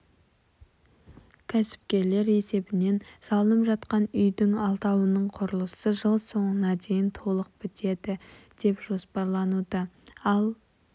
кәсіпкерлер есебінен салынып жатқан үйдің алтауының құрылысы жыл соңына дейін толық бітеді деп жоспарлануда ал